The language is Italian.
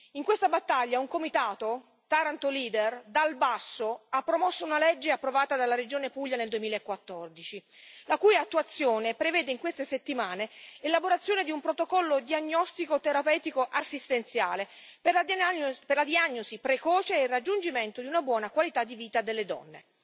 In questa battaglia un comitato, Taranto Lider, dal basso, ha promosso una legge approvata dalla Regione Puglia nel 2014, la cui attuazione prevede in queste settimane l'elaborazione di un protocollo diagnostico terapeutico assistenziale per la diagnosi precoce e il raggiungimento di una buona qualità di vita delle donne.